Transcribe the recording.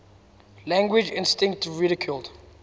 language instinct ridiculed